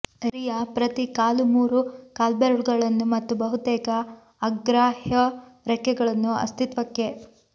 ರಿಯಾ ಪ್ರತಿ ಕಾಲು ಮೂರು ಕಾಲ್ಬೆರಳುಗಳನ್ನು ಮತ್ತು ಬಹುತೇಕ ಅಗ್ರಾಹ್ಯ ರೆಕ್ಕೆಗಳನ್ನು ಅಸ್ತಿತ್ವಕ್ಕೆ